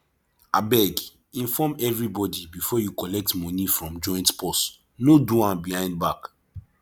abeg inform everybody before you collect money from joint purse no do am behind back